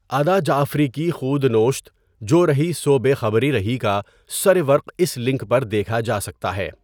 ادا جعفری کی خؤدنوشت جو رہی سو بے خبری رہی کا سرورق اس لنک پر دیکھا جاسکتا ہے.